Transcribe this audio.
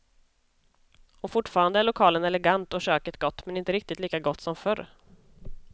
Och fortfarande är lokalen elegant och köket gott, men inte riktigt lika gott som förr.